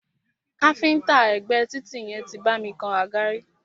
Káfíńńtà ẹ̀gbé títì yẹn tí bá mi kan àga rí.